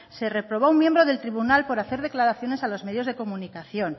se reprobó a un miembro del tribunal por hacer declaraciones a los medios de comunicación